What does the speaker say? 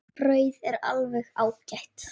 Brauðið er alveg ágætt.